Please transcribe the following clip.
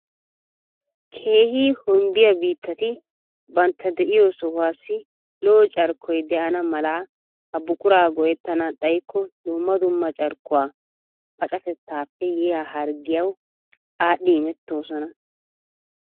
Keehi hombbiya biittati bantta diyo sohuwassi lo'o carkkoy de'ana mala ha buqura go'ettana xayikko dumma dumma carkkuwa pacatettappe yiya harggiyawu aadhdhi imettoosona.